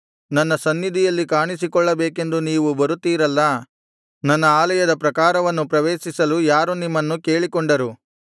ನನ್ನ ಸನ್ನಿಧಿಯಲ್ಲಿ ಕಾಣಿಸಿಕೊಳ್ಳಬೇಕೆಂದು ನೀವು ಬರುತ್ತೀರಲ್ಲಾ ನನ್ನ ಆಲಯದ ಪ್ರಾಕಾರವನ್ನು ಪ್ರವೇಶಿಸಲು ಯಾರು ನಿಮ್ಮನ್ನು ಕೇಳಿಕೊಂಡರು